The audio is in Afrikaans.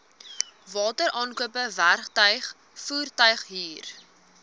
wateraankope werktuig voertuighuur